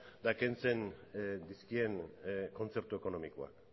eta kentzen dizkien kontzertu ekonomikoa